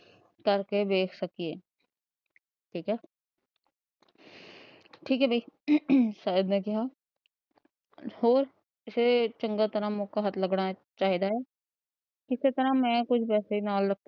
ਕਰਕੇ ਵੇਖ ਸਕੀਏ। ਠੀਕ ਹੈ, ਠੀਕ ਹੈ ਬਈ ਸ਼ਾਇਦ ਨੇਂ ਕਿਹਾ ਫੇਰ ਚੰਗੀ ਤਰ੍ਹਾਂ ਮੌਕਾ ਹੱਥ ਲਗਣਾ ਚਾਹੀਦਾ ਹੈ। ਇਸੇ ਤਰ੍ਹਾਂ ਮੈਂ ਕੁੱਝ ਪੈਸੇ ਨਾਲ